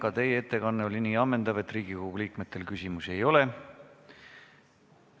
Ka teie ettekanne oli nii ammendav, et Riigikogu liikmetel küsimusi ei ole.